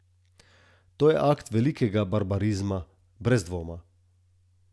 To je akt velikega barbarizma, brez dvoma.